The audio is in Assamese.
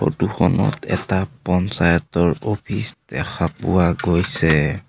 ফটো খনত এটা পঞ্চায়তৰ অফিচ দেখা পোৱা গৈছে।